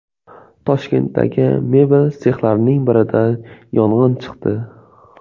Toshkentdagi mebel sexlarining birida yong‘in chiqdi.